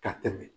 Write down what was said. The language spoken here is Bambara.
Ka tɛmɛ